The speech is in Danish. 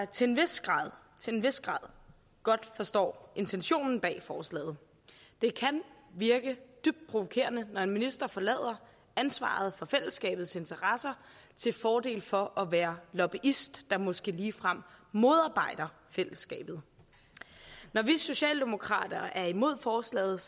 til en vis grad til en vis grad grad forstår intentionen bag forslaget det kan virke dybt provokerende når en minister forlader ansvaret for fællesskabets interesser til fordel for at være lobbyist der måske ligefrem modarbejder fællesskabet når vi socialdemokrater er imod forslaget